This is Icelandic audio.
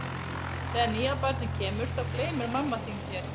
Þegar nýja barnið kemur þá gleymir mamma þín þér.